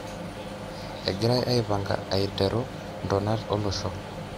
Egirae aipanga aiteru ntonat olosho.